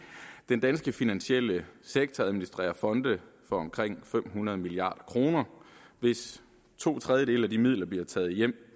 den danske finansielle sektor administrerer fonde for omkring fem hundrede milliard kroner hvis to tredjedele af de midler bliver taget hjem